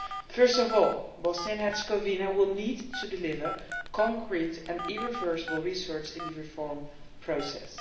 First of all, Bosnia and Herzegovina will need to deliver concrete and irreversible results in the reform process.